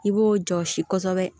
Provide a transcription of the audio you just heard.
I b'o jɔsi kosɛbɛ